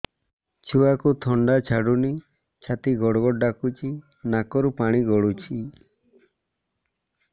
ଛୁଆକୁ ଥଣ୍ଡା ଛାଡୁନି ଛାତି ଗଡ୍ ଗଡ୍ ଡାକୁଚି ନାକରୁ ପାଣି ଗଳୁଚି